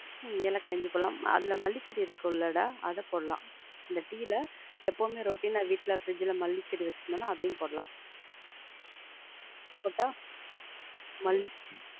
உம் ஏலக்காய், இஞ்சி போடலாம், அதுல மல்லி செடி இருக்கும்லடா, அது போடலாம். இந்த டீல எப்பவுமே routine ஆ வீட்ல fridge ல மல்லி செடி வச்சி இருந்தோம்னா, அதையும் போடலாம். போட்டா, மல்லி செடி,